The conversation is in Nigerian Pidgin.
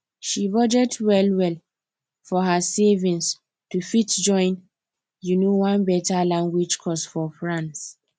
she budget well well for her savings to fit join um one better language course for france